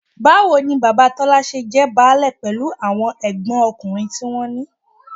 Báwo ni bàbá Tọ́lá ṣe jẹ́ báálé pẹ̀lú àwọn ẹ̀gbọ́nkùnrin tí wọ́n ní?